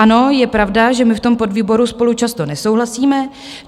Ano, je pravda, že my v tom podvýboru spolu často nesouhlasíme.